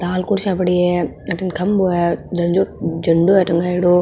लाल कुर्सिया पड़ी है अठीने खम्बो है झनजो झंडो है टँगायोड़ो।